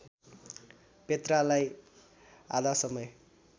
पेत्रालाई आधा समय